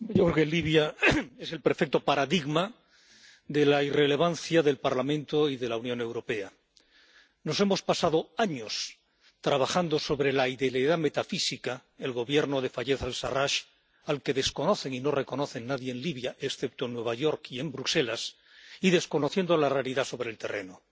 Señora presidenta, yo creo que Libia es el perfecto paradigma de la irrelevancia del Parlamento y de la Unión Europea. Nos hemos pasado años trabajando sobre la idealidad metafísica, el Gobierno de Fayez al Sarrach, al que desconocen y no reconoce nadie en Libia, excepto en Nueva York y en Bruselas, y desconociendo la realidad sobre el terreno.